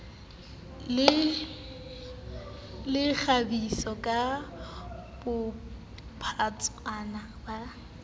le kgabisa ka bophatshwana ba